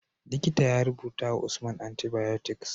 Likita ya rubutawa usman antibiotics